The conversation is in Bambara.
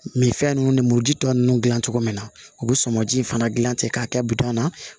fɛn ninnu ni muru ji tɔ ninnu dilan cogo min na u bɛ sɔmɔ ji fana dilan ten k'a kɛ bitɔn na